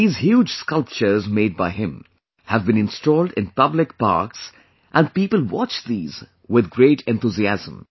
These huge sculptures made by him have been installed in public parks and people watch these with great enthusiasm